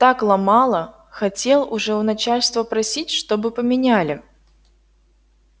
так ломало хотел уже у начальства просить чтобы поменяли